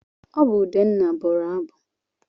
Ọ bụ Udenna bụrụ abụ.